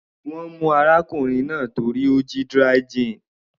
Wọ́n mú arákùnrin náà torí ó jí dry gin.